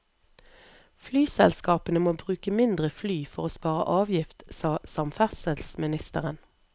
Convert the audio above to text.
Flyselskapene må bruke mindre fly for å spare avgift, sa samferdselsministeren.